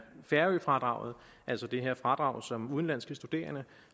færøfradraget altså at det her fradrag som udenlandske studerende